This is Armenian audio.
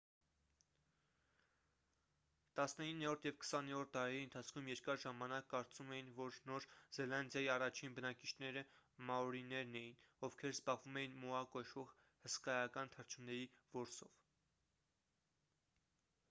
տասնիններորդ և քսաներորդ դարերի ընթացքում երկար ժամանակ կարծում էին որ նոր զելանդիայի առաջին բնակիչները մաորիներն էին ովքեր զբաղվում էին մոա կոչվող հսկայական թռչունների որսով